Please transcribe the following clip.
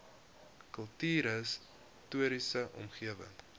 kultuurhis toriese omgewing